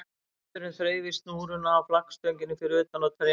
Vindurinn þreif í snúruna á flaggstönginni fyrir utan og trén við